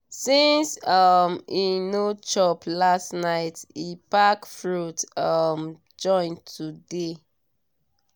**since um e no chop last night e pack fruit um join today